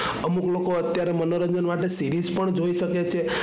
અમુક લોકો અત્યારે મનોરંજન માટે series પણ જોઈ શકે છે.